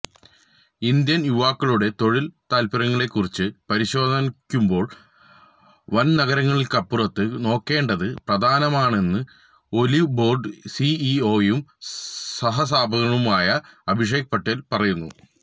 Indian യുവാക്കളുടെ തൊഴില് താത്പര്യങ്ങളേക്കുറിച്ച് പരിശോധിക്കുമ്പോള് വന് നഗരങ്ങള്ക്കപ്പുറത്തേക്ക് നോക്കേണ്ടത് പ്രധാനമാണെന്ന് ഒലിവ്ബോര്ഡ് സിഇഒയും സഹസ്ഥാപകനുമായ അഭിഷേക് പാട്ടീല് പറയുന്നു